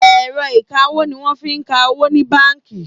Ẹ̀rọ ìkawó ní wọ́n fí ń ka owó ní bánkì.